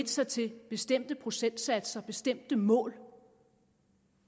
sig til bestemte procentsatser og bestemte mål